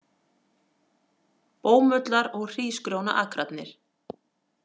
Bómullar- og hrísgrjónaakrarnir.